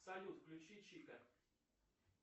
салют включи чика